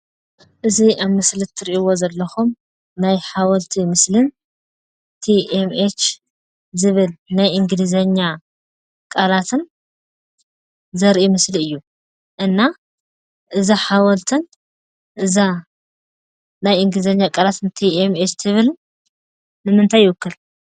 እዚ ኣብ ምስሊ እትርእይዎ ዘለኹም ናይ ሓወልቲ ምስሊን tmh ዝበል ናይ እንግሊዘኛ ቃላትን ዘርኢ ምስሊ እዩ። እና እዚ ሓወልትን እዛ ናይ እንግሊዘኛ ቃላት tmh ትብልን ንምንታይ ይወክል?